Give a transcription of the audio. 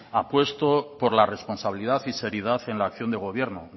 apuesto por la responsabilidad y seriedad en la acción de gobierno